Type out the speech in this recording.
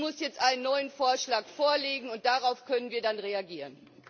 so. Sie muss jetzt einen neuen Vorschlag vorlegen, und darauf können wir dann reagieren.